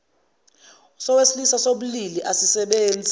sowesilisa sobulili asisebenzi